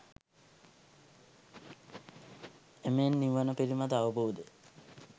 එමෙන් නිවන පිළිබඳ අවබෝධය